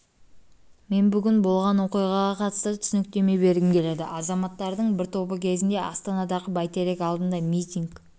мен бүгін болған оқиғаға қатысты түсініктеме бергім келеді азаматтардың бір тобы кезінде астанадағы бйтерек алдында митинг